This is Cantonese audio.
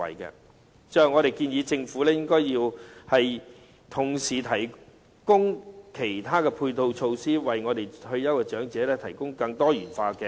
最後，我們建議政府應該同時提供其他配套措施，為我們的退休長者提供更多元化的安排。